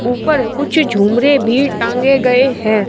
ऊपर कुछ झूमरे भी टांगे गए हैं।